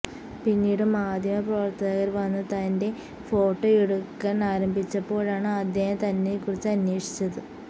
പിന്നീട് മാധ്യമപ്രവര്ത്തകര് വന്ന് തന്റെ ഫോട്ടോയെടുക്കാന് ആരംഭിച്ചപ്പോഴാണ് അദ്ദേഹം തന്നെക്കുറിച്ച് അന്വേഷിച്ചത്